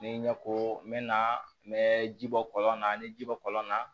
Ni ɲɛko n bɛ na n bɛ ji bɔ kɔlɔn na n bɛ ji bɔ kɔlɔn na